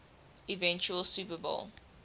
eventual super bowl